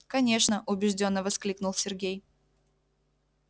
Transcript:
конечно убеждённо воскликнул сергей